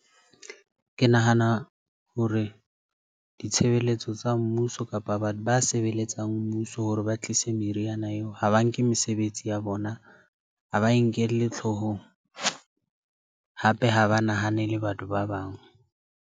Ke nahana hore ditshebeletso tsa mmuso kapa batho ba sebeletsang mmuso. Hore ba tlise meriana eo ha ba nke mesebetsi ya bona, ha ba e nkelle hloohong hape ha ba nahanele batho ba bang.